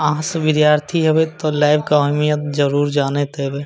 आहाँ सब विद्यार्थी हैवे ते लैब के अहमियत जरूर जानत होएबे।